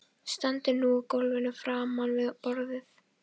Stendur nú á gólfinu framan við borðið.